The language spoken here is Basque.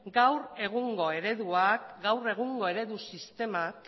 gaur egungo eredu sistemak